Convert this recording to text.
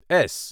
S